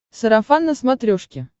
сарафан на смотрешке